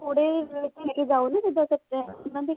ਥੋੜੇ ਇਹਨਾ ਦੀ